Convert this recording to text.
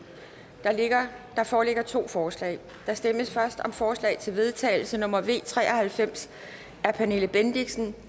der foreligger to forslag der stemmes først om forslag til vedtagelse nummer v tre og halvfems af pernille bendixen